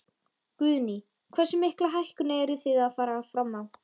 Guðný: Hversu mikla hækkun eruð þið að fara fram á?